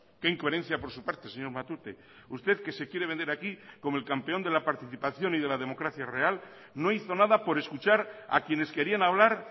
qué incoherencia por su parte señor matute usted que se quiere vender aquí como el campeón de la participación y de la democracia real no hizo nada por escuchar a quienes querían hablar